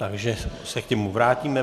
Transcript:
Takže se k němu vrátíme.